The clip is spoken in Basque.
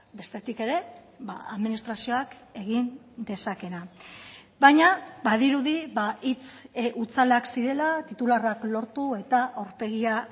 bestetik ere administrazioak egin dezakeena baina badirudi hitz hutsalak zirela titularrak lortu eta aurpegia